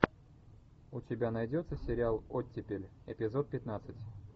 у тебя найдется сериал оттепель эпизод пятнадцать